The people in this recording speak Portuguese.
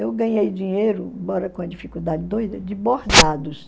Eu ganhei dinheiro, embora com uma dificuldade doida, de bordados.